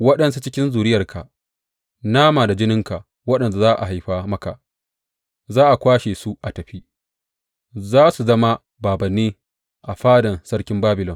Waɗansu cikin zuriyarka, nama da jininka waɗanda za a haifa maka, za a kwashe su a tafi, za su zama bābānni a fadan sarkin Babilon.